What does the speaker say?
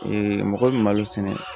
mɔgɔ bɛ malo sɛnɛ